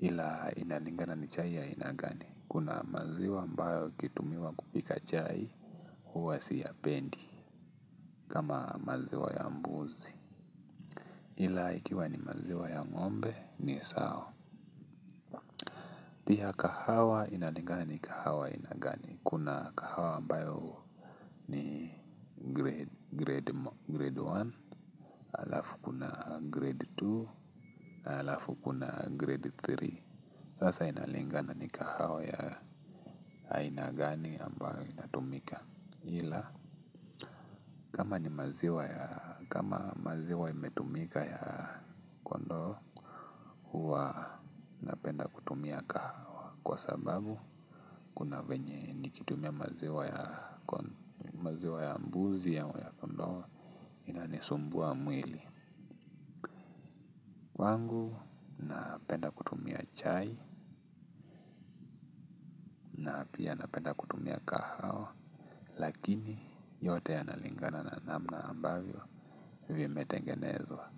ila inalingana ni chai ya aina gani kuna maziwa ambayo ikitumiwa kupika chai huwa siyapendi kama maziwa ya mbuzi ila ikiwa ni maziwa ya ng'ombe ni sawa pia kahawa inalinga ni kahawa aina gani kuna kahawa ambayo ni grade grade moja halafu kuna grade mbili halafu kuna grade tatu sasa inalinga ni kahawa ya aina gani ambayo inatumika ila kama ni maziwa ya kama maziwa imetumika ya kondoo huwa napenda kutumia kahawa kwa sababu kuna venye nikitumia maziwa ya mbuzi ama ya kondoo inanisumbua mwili kwangu napenda kutumia chai pia napenda kutumia kahawa lakini yote yanalingana na namna ambavyo vimetengenezwa.